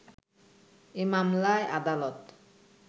এ মামলায় আদালত